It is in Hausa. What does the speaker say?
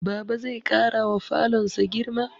Baba zai ƙarawa falonsa girma